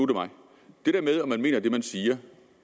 om man mener det man siger